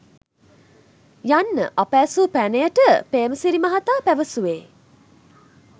යන්න අප ඇසූ පැනයට පේ්‍රමසිරි මහතා පැවසූවේ